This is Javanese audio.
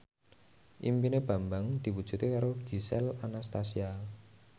impine Bambang diwujudke karo Gisel Anastasia